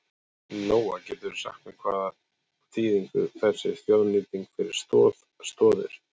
Lóa: Geturðu sagt mér hvaða þýðingu þetta hefur þessi þjóðnýting fyrir Stoð Stoðir?